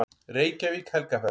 Reykjavík: Helgafell.